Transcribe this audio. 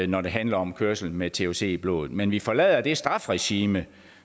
når det handler om kørsel med thc i blodet men vi forlader det strafregime